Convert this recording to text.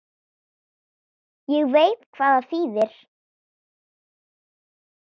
Ég veit hvað það þýðir.